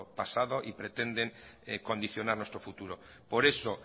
pasado y pretenden condicionar nuestro futuro por eso